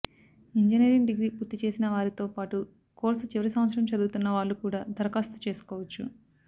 engineering degree పూర్తిచేసినవారితో పాటు course చివరి సంవత్సరం చదువుతున్నవాళ్లు కూడా దరఖాస్తు చేసుకోవచ్చు